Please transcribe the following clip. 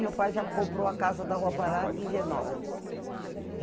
Meu pai já comprou a casa da Rua Pará em Genópolis.